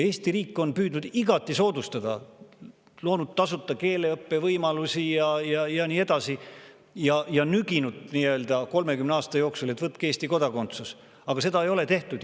Eesti riik on püüdnud igati soodustada, loonud tasuta keeleõppe võimalusi, ja nüginud 30 aasta jooksul Eesti kodakondsust võtma, aga seda ei ole tehtud.